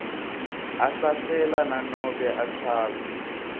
ahlahlela nanobe achaza